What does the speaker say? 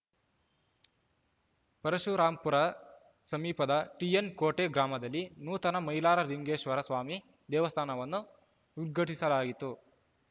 ಪರಶುರಾಂಪುರ ಸಮೀಪದ ಟಿಎನ್‌ಕೋಟೆ ಗ್ರಾಮದಲ್ಲಿ ನೂತನ ಮೈಲಾರ ಲಿಂಗೇಶ್ವರಸ್ವಾಮಿ ದೇವಸ್ಥಾನವನ್ನು ಉದ್ಘಾಟಿಸಲಾಯಿತು